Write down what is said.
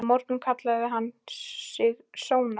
Í morgun kallaði hann sig Sónar.